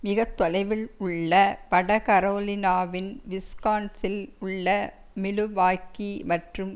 மிக தொலைவில் உள்ள வட கரோலினாவின் விஸ்கான்சில் உள்ள மிலுவாக்கீ மற்றும்